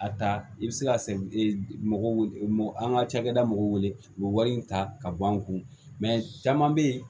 A ta i bɛ se ka mɔgɔw an ka cakɛda mɔgɔw wele u bɛ wari in ta ka bɔ an kun caman bɛ yen